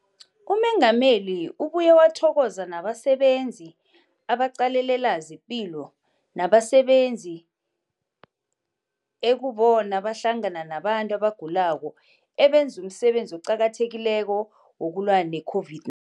UMengameli ubuye wathokoza nabasebenzi abaqalelela zepilo nabasebenzi ekubona bahlangana nabantu abagulako, abenza umsebenzi oqakathekileko wokulwa ne-COVID-19.